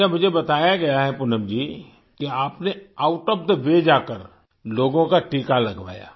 अच्छा मुझे बताया गया है पूनम जी कि आपने आउट ओएफ थे वे जाकर लोगों का टीका लगवाया